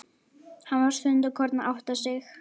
Hann var stundarkorn að átta sig.